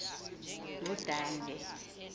ngudange